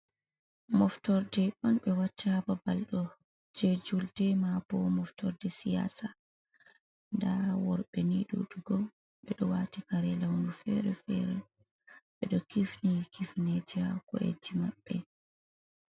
Moftorde on ɓe watta ha babal ɗo, je julde ma bo moftorde siyasa. Nda worɓe ni ɗuɗugo ɓe ɗo wati kare lawnu fere fere, ɓe ɗo kifni kifneja ha ko’eji maɓɓe.